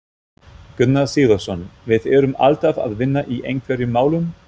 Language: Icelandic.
Gunnar Sigurðsson: Við erum alltaf að vinna í einhverjum málum?